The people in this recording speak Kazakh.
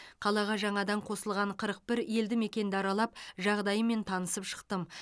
қалаға жаңадан қосылған қырық бір елді мекенді аралап жағдайымен танысып шықтым